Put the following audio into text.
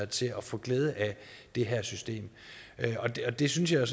til at få glæde af det her system det synes jeg